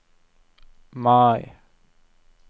Mai